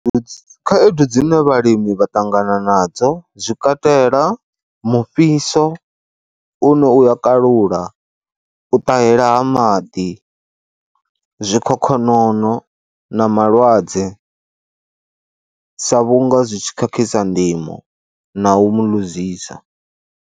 Khaedu dzine vhalimi vha ṱangana nadzo zwi katela mufhiso une u ya kalula, u ṱahela ha maḓi, zwikhokhonono na malwadze sa vhunga zwi tshi khakhisa ndimo na u mu ḽuzisa.